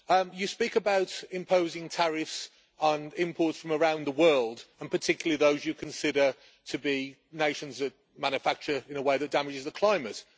You speak about imposing tariffs on imports from around the world, and particularly those you consider to be nations that manufacture in a way that damages the climate.